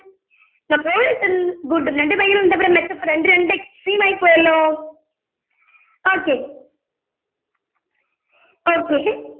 notorius good ഉം good ന്ന് പറഞ്ഞിട്ട് ഭയങ്കര എന്താ പറയുവാ മെച്ചപ്പെട്ട അതിന്റെരണ്ട് extreme ആയിപോയല്ലോ okay okay